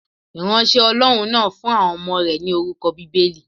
Ìránṣẹ́ Ọlọ́run náà fún àwọn ọmọ rẹ̀ ni orúkọ Bíbélì.